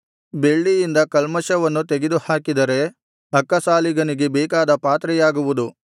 ಬೆಳ್ಳಿಯಿಂದ ಕಲ್ಮಷವನ್ನು ತೆಗೆದುಹಾಕಿದರೆ ಅಕ್ಕಸಾಲಿಗನಿಗೆ ಬೇಕಾದ ಪಾತ್ರೆಯಾಗುವುದು